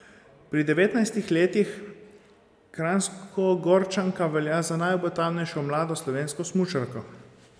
Pri devetnajstih letih Kranjskogorčanka velja za najobetavnejšo mlado slovensko smučarko.